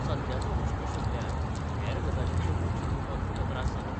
सद्याचो हुस्को सोडल्यार हेर गजालींचेर लक्ष दिवपाक तुका त्रास जाता?